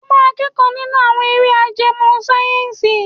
O máa kẹ́kọ̀ọ́ nínú àwọn eré ajẹmọ́ sáyẹ́ǹsì.